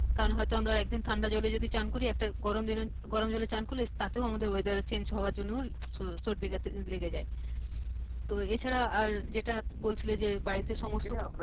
কারণ হয়তো আমরা একদিন ঠান্ডা জলে যদি চান করি একটা গরম জলে একটা গরম জলে চান করলে তাতেও আমাদের weather এ change হবার জন্যে স ~সর্দি খাশি লেগে যাই তো এ ছাড়া আর যেইটা বলছিলে যে বাড়িতে সমস্ত।